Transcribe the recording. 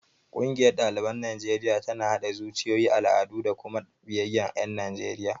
Ƙungiyar ɗaliban Najeriya tana haɗa zuciyoyi, al'adu da kuma biyayyar ƴan Najeriya.